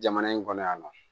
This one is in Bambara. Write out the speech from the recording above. Jamana in kɔnɔ yan nɔ